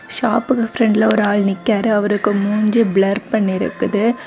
ஷாப்புக்கு ஃப்ரெண்ட்ல ஒரு ஆள் நிக்காரு. அவருக்கு மூஞ்சி பிளர் பண்ணி இருக்குது.